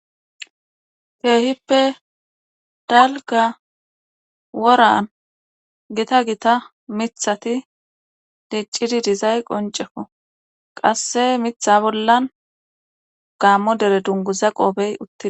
Keehippe dalga woran gita gita mithati diccidi dizay qoncefo qasse mitha bollan gaammo dere dunguza qoobey utti..